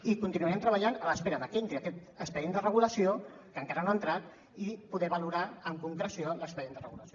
i continuarem treballant a l’espera que entri aquest expedient de regulació que encara no ha entrat i poder valorar amb concreció l’expedient de regulació